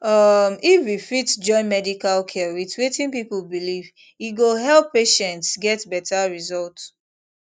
um if we fit join medical care with wetin people believe e go help patients get better result